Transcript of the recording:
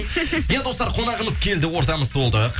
иә достар қонағымыз келді ортамыз толды